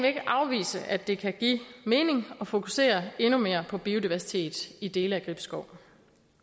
ikke afvise at det kan give mening at fokusere endnu mere på biodiversitet i dele af gribskov